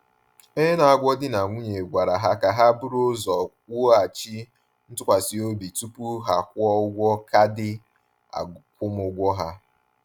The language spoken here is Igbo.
Onye na-agwọ di na nwunye gwara ha ka ha buru ụzọ wughachi ntụkwasị obi tupu ha kwụọ ụgwọ kaadị akwụmụgwọ ha.